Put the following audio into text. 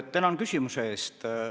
Tänan küsimuse eest!